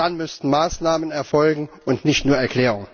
Dann müssten Maßnahmen erfolgen und nicht nur Erklärungen.